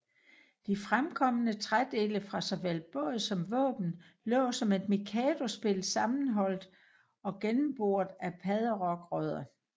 De fremkomne trædele fra såvel båd som våben lå som et mikadospil sammenholdt og gennemboret af padderokrødder